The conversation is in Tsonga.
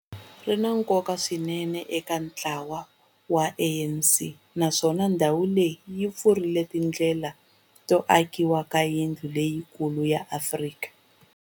Ri na nkoka swinene eka ntlawa wa ANC, naswona ndhawu leyi yi pfurile tindlela to akiwa ka yindlu leyikulu ya Afrika.